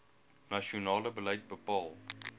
nasionale beleid bepaal